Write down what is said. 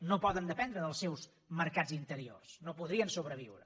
no poden dependre dels seus mercats interiors no podrien sobreviure